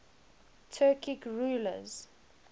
turkic rulers